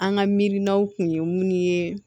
An ka mirininaw kun ye mun ye